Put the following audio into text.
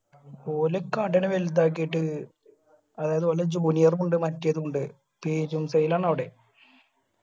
ഓല് കടയെല്ലു വലുതാക്കിയിട്ട് അതായത് ഓലെ junior ഉം ഉണ്ട് മറ്റേതും ഉണ്ട് പെരും sale ആണ് അവടെ